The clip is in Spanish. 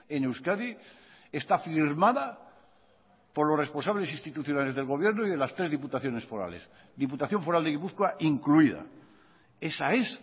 en euskadi está firmada por los responsables institucionales del gobierno y de las tres diputaciones forales diputación foral de gipuzkoa incluida esa es